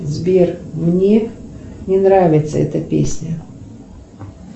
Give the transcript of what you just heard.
сбер мне не нравится эта песня